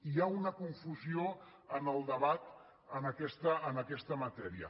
hi ha una confusió en el debat en aquesta matèria